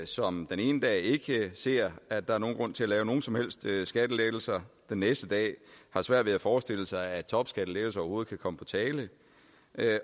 som den ene dag ikke ser at der er nogen grund til at lave nogen som helst skattelettelser og den næste dag har svært ved at forestille sig at topskattelettelser overhovedet kan komme på tale